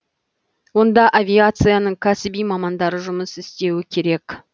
онда авиацияның кәсіби мамандары жұмыс істеуі керек